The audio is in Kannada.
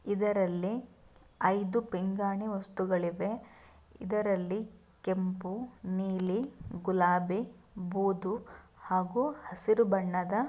ಇದರಲ್ಲಿ ಐದು ಪಿಂಗಾಣಿ ವಸ್ತುಗಳಿವೆ ಇದರಲ್ಲಿ ಕೆಂಪು ನೀಲಿ ಗುಲಾಬೆ ಬೂದು ಹಾಗೂ ಹಸಿರು ಬಣ್ಣದ--